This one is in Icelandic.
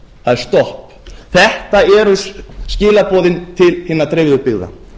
það er stopp þetta eru skilaboðin til hinnar dreifðu byggða